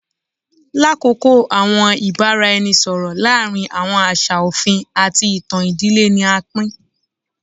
Lakoko awọn ibaraẹnisọrọ laarin awọn aṣa ofin ati itan idile ni a pin